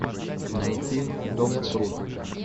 найти том круз